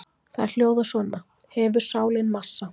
Þær hljóða svona: Hefur sálin massa?